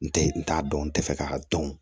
N tɛ n t'a dɔn n tɛ fɛ k'a dɔn